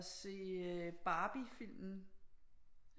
Og se Barbiefilmen